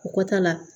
Kɔta la